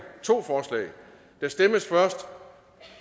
to forslag der stemmes først